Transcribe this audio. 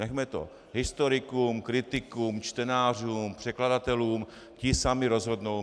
Nechme to historikům, kritikům, čtenářům, překladatelům, ti sami rozhodnou.